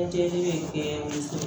Lajɛli bɛ kɛ